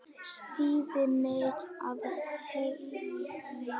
Styðja mig af heilum hug?